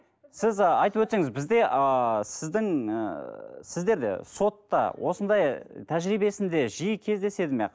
сіз ы айтып өтсеңіз бізде ыыы сіздің ыыы сіздер сотта осындай тәжірибесінде жиі кездеседі ме